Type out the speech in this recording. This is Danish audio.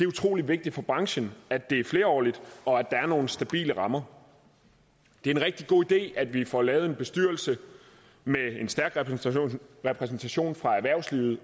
utrolig vigtigt for branchen at det er flerårigt og at der er nogle stabile rammer det er en rigtig god idé at vi får lavet en bestyrelse med en stærk repræsentation fra erhvervslivet